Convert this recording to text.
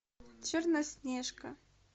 черноснежка